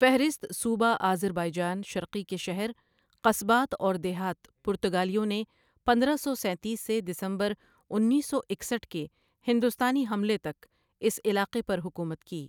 فہرست صوبہ اذربائیجان شرقی کے شہر، قصبات اور دیہات پرتگالیوں نے پندہ سو سینتیس سے دسمبر اُنیس سو اکستھ کے ہندوستانی حملے تک اس علاقے پر حکومت کی۔